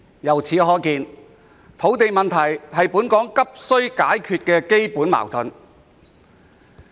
由此可見，土地問題是本港急需解決的根本矛盾。